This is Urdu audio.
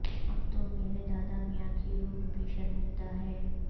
اب تو مرے دادا میاں کی روح بھی شرمندہ ہے